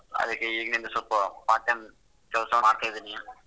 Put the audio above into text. ಅದಕ್ಕೇ ಈಗಿಂದಾನೇ ಸ್ವಲ್ಪ part time ಕೆಲ್ಸ ಮಾಡ್ತಿದೀನಿ.